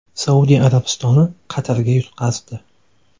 Saudiya Arabistoni Qatarga yutqazdi.